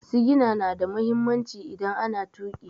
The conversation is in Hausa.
Sigina na da mahimmanci idan ana tuƙi.